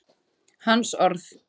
Hans orð.